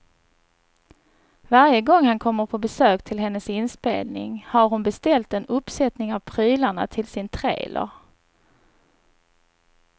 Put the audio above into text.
Varje gång han kommer på besök till hennes inspelning har hon beställt en uppsättning av prylarna till sin trailer.